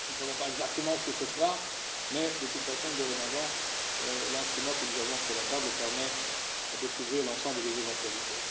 Nous ne savons pas exactement ce que ça sera, mais, de toute façon, dorénavant, l'instrument que nous avons sur la table permet de couvrir l'ensemble des éventualités.